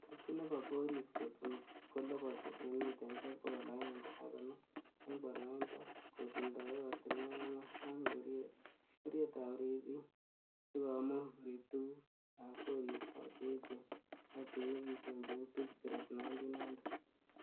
Tokyi nebo goris kotun koloboti en mitaisiek bogol agenge ak konoom, en boroindo kotindoi ortinwek angwan ak ngorietab ribik sikomuch korib tuguk ab koristo che echen ak che nyingisen cheu Beechcraft 1900.